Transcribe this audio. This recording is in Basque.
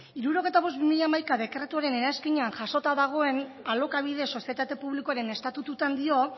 hirurogeita bost barra bi mila hamaika dekretuaren eranskinean jasota dagoen alokabide sozietate publikoaren estatututan dio